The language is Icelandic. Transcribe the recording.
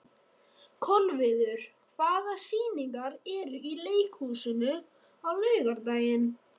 Kolviður, hvaða sýningar eru í leikhúsinu á laugardaginn?